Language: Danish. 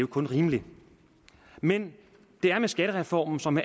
kun rimeligt men det er med skattereformen som